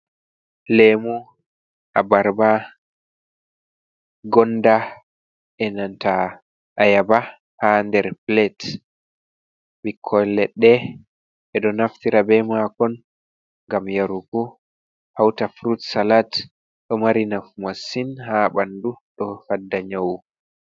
Leemu abarba, gonda e nanta ayaaba haa nder pilet, ɓikkon leɗɗe e ɗo naftiraa bee maakon ngam yarugo hawta furut salat, ɗo mari nafu masin hay ɓanndu do fadda nyawu.